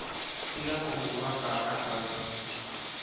Tiga kũhũũra kaana kau